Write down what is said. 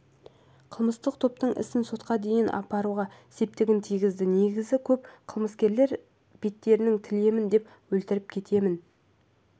қылмыстық топтың ісін сотқа дейін аппаруға септігін тигізді негізі көбі қылмыскерлер беттеріңді тілемін өлтіріп кетемін